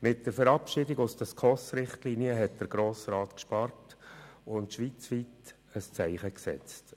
Mit der Verabschiedung aus den SKOS-Richtlinien hat der Grosse Rat gespart und schweizweit ein unrühmliches Zeichen gesetzt.